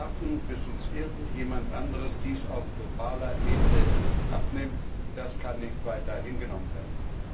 Warten, bis uns irgendjemand anderer dies auf globaler Ebene abnimmt, das kann nicht weiter hingenommen werden.